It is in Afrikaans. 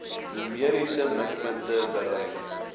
numeriese mikpunte bereik